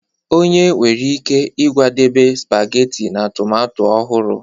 Onye nwere ike ịkwadebe spageti na tomato ọhụrụ